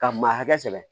Ka maa hakɛ sɛbɛ